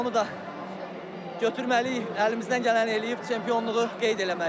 Onu da götürməliyik, əlimizdən gələni eləyib çempionluğu qeyd eləməliyik.